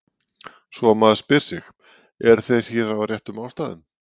Svo maður spyr sig: eru þeir hér af réttum ástæðum?